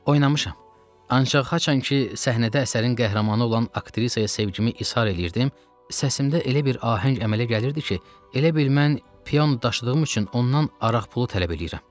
Oynamışam, ancaq haçan ki səhnədə əsərin qəhrəmanı olan aktrisaya sevgimi israr eləyirdim, səsimdə elə bir ahəng əmələ gəlirdi ki, elə bil mən piyon daşıdığım üçün ondan araq pulu tələb eləyirəm.